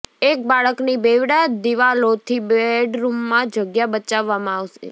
એક બાળકની બેવડા દીવાલોથી બેડરૂમમાં જગ્યા બચાવવામાં આવે છે